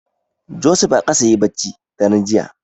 Joseph a ƙasa yayi bacci daren jiya.